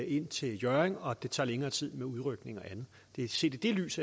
ind til hjørring og at det tager længere tid med udrykning og andet det er set i det lys